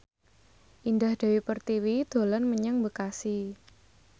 Indah Dewi Pertiwi dolan menyang Bekasi